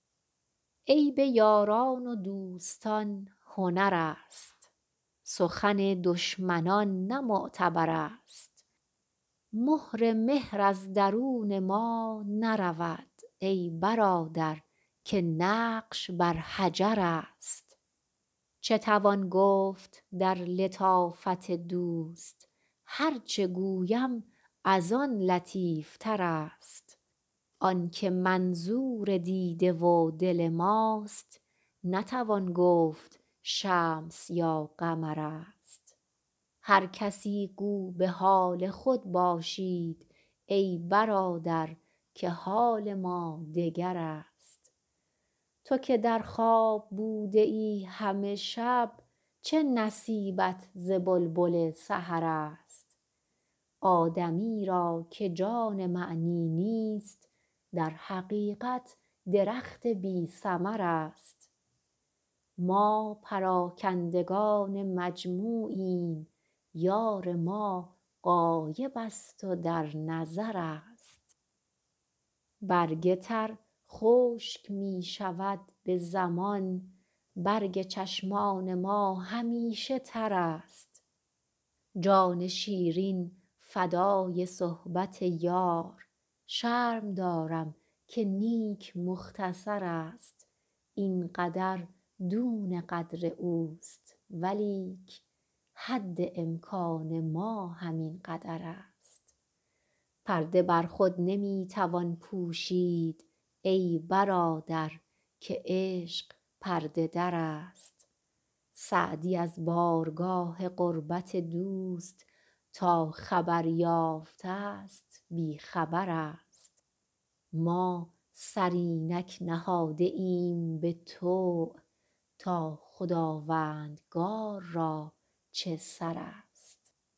عیب یاران و دوستان هنر است سخن دشمنان نه معتبر است مهر مهر از درون ما نرود ای برادر که نقش بر حجر است چه توان گفت در لطافت دوست هر چه گویم از آن لطیف تر است آن که منظور دیده و دل ماست نتوان گفت شمس یا قمر است هر کسی گو به حال خود باشید ای برادر که حال ما دگر است تو که در خواب بوده ای همه شب چه نصیبت ز بلبل سحر است آدمی را که جان معنی نیست در حقیقت درخت بی ثمر است ما پراکندگان مجموعیم یار ما غایب است و در نظر است برگ تر خشک می شود به زمان برگ چشمان ما همیشه تر است جان شیرین فدای صحبت یار شرم دارم که نیک مختصر است این قدر دون قدر اوست ولیک حد امکان ما همین قدر است پرده بر خود نمی توان پوشید ای برادر که عشق پرده در است سعدی از بارگاه قربت دوست تا خبر یافته ست بی خبر است ما سر اینک نهاده ایم به طوع تا خداوندگار را چه سر است